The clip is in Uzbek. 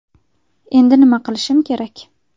Endi nima qilishim kerak?